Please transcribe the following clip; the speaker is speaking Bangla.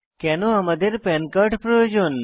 কেনো আমাদের পান কার্ড প্রয়োজন